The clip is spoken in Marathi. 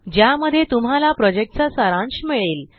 ज्या मध्ये तुम्हाला प्रोजेक्ट चा सारांश मिळेल